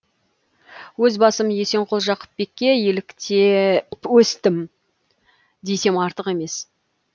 өз басым есенқұл жақыпбекке еліктем өстім десем артық емес